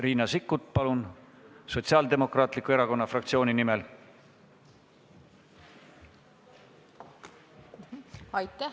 Riina Sikkut Sotsiaaldemokraatliku Erakonna fraktsiooni nimel, palun!